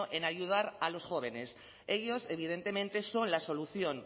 en ayudar a los jóvenes ellos evidentemente son la solución